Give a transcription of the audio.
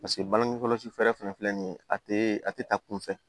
Paseke bagenkɔrɔsi fɛɛrɛ fɛnɛ filɛ nin ye a te a te taa kunfɛ